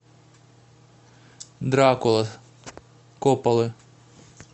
дракула копполы